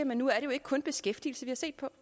hvis det